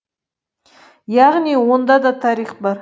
яғни онда да тарих бар